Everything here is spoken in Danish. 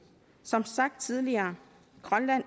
som sagt tidligere er grønland